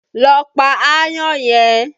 Lọ pa aáyán yẹn!